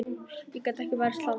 Ég get ekki varist hlátri.